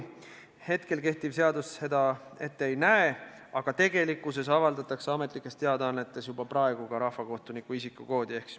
Praegune seadus seda ette ei näe, aga tegelikkuses avaldatakse ametlikes teadaannetes juba praegu ka rahvakohtuniku isikukood.